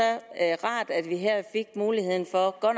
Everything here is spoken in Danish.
rart at vi her fik muligheden for at